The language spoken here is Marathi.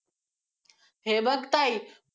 हे बघ ताई!